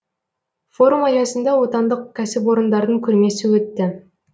форум аясында отандық кәсіпорындардың көрмесі өтті